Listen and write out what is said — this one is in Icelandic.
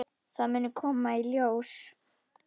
Það muni koma í ljós.